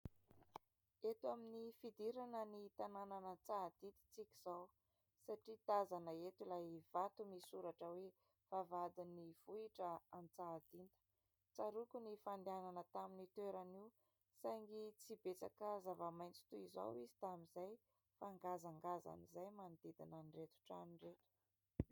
Eto amin'ny fidirana ny tanànan'Antsahadinta isika izao satria tazana eto ilay vato misy soratra hoe : "Vavahadin'ny vohitra Antsahadinta". Tsaroako ny fandehanana tamin'io toerana io saingy tsy betsaka zava-maitso toy izao izy tamin'izay fa ngazangazana izay ny manodidina an'ireto trano ireto.